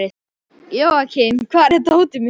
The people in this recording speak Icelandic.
Jóakim, hvar er dótið mitt?